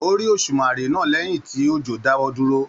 O rí òsùmàrè náà lẹyìn tí òjò dáwọ dúró.